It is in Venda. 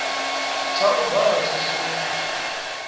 tsha u vala tsho swika